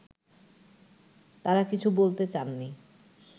তারা কিছু বলতে চাননি